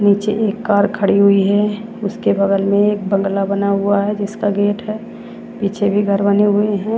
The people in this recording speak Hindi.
नीचे एक कार खड़ी हुई है उसके बगल मे एक बंगला बना हुआ है जिसका गेट है पीछे भी घर बने हुए है।